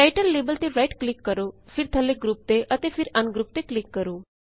title label ਤੇ right click ਕਰੋ ਫਿਰ ਥੱਲੇ ਗਰੁੱਪ ਤੇ ਅਤੇ ਫਿਰ ਅਨਗਰੁੱਪ ਤੇ ਕਲਿਕ ਕਰੋ